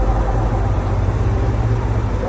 Əşhədü ənnə Muhammədən Rəsulullah.